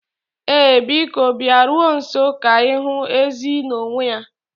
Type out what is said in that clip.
Ee, Biko bịaruo nso ka ịhụ ezi n'onwe ya.